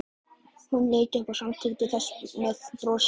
Hún leit upp og samþykkti með brosi.